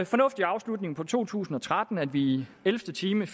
fornuftig afslutning på to tusind og tretten da vi i ellevte time